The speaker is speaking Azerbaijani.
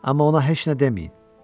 Amma ona heç nə deməyin.